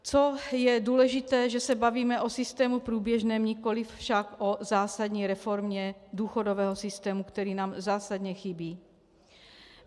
Co je důležité, že se bavíme o systému průběžném, nikoliv však o zásadní reformě důchodového systému, který nám zásadně chybí.